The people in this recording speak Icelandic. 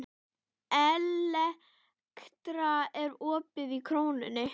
Elektra, er opið í Krónunni?